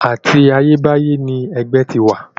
Àti ayébáyé ni ẹgbẹ́ ti ń wà.